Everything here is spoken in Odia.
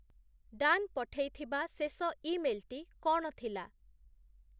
ଡାନ ପଠେଇଥିବା ଶେଷ ଇମେଲ୍ ଟି କଣ ଥିଲା?